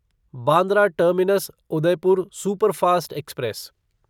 Bandra terminus Udaipur superfast express